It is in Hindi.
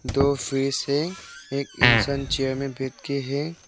दो फ्रिज हैं एक इंसान चेयर में बैठ के हैं।